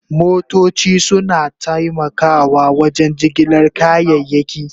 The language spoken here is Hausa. Motoci suna taimakawa wajen jigilar kayayyaki.